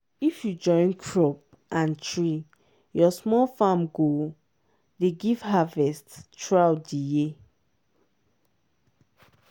if you join crop and tree your small farm go dey give harvest throughout di year.